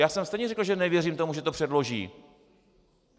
Já jsem stejně řekl, že nevěřím tomu, že to předloží.